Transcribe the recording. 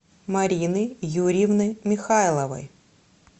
марины юрьевны михайловой